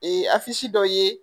Ee a dɔ ye